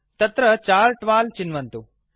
तत्र chart wall चिन्वन्तु